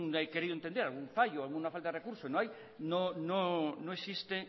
fallo o una falta de recurso no hay no existe